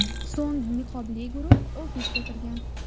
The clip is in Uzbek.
So‘ng niqobli guruh ofisga kirgan.